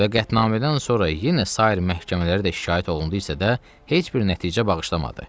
Və qətnamədən sonra yenə sair məhkəmələrə də şikayət olundu isə də heç bir nəticə bağışlamadı.